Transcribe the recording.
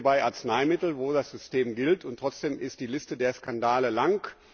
Das sehen wir bei Arzneimitteln, bei denen das System gilt, und trotzdem ist die Liste der Skandale lang.